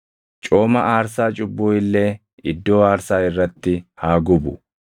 Cooma aarsaa cubbuu illee iddoo aarsaa irratti haa gubu.